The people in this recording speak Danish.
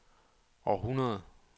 århundrede